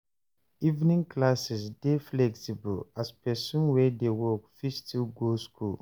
Evening classes dey flexible as person wey dey work fit still go school